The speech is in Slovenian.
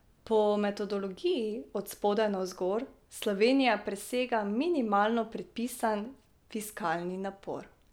Po metodologiji od spodaj navzgor Slovenija presega minimalno predpisan fiskalni napor.